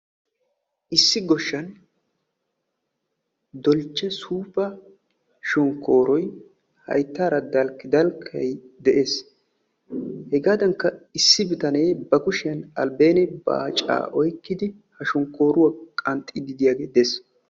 Issi goshshan hayttara dalkkidalkka shonkkoroy de'ees. Ha sohuwan issi bitane qanxxiddi de'iyaage de'ees.